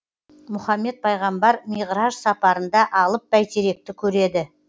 мұхаммед пайғамбар миғраж сапарында алып бәйтеректі көреді